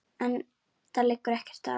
Enda liggur ekkert á.